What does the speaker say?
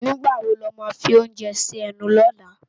Nigbá wó lá má fi óounjè si ènú lòlá?